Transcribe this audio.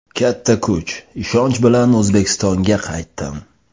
Katta kuch, ishonch bilan O‘zbekistonga qaytdim.